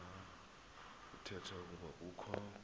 kuthetha ukuba kukho